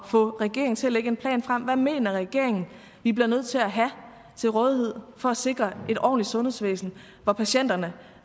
få regeringen til at lægge en plan frem hvad mener regeringen vi bliver nødt til at have til rådighed for at sikre et ordentligt sundhedsvæsen hvor patienterne